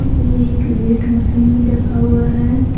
ये एक weight machine भी रखा हुआ है।